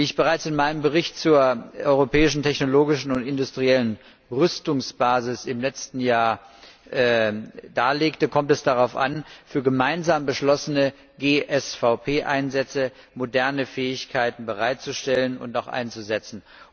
Wie ich bereits im letzten Jahr in meinem Bericht zur europäischen technologischen und industriellen Rüstungsbasis darlegte, kommt es darauf an, für gemeinsam beschlossene GSVP Einsätze moderne Fähigkeiten bereitzustellen und auch einzusetzen.